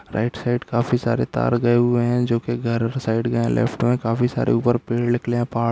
right side काफी सारे तार गए हुए हैं जो कि घरों के साइड के यहाँ लेफ्ट में काफी सारे ऊपर पेड़ निकले है पहाड़--